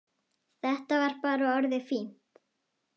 Þetta var bara orðið fínt.